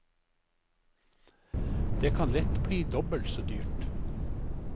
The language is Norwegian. Det kan lett bli dobbelt så dyrt.